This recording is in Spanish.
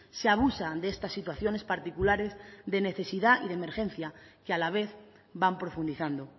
se abusa de estas situaciones particulares de necesidad y emergencia que a la vez van profundizando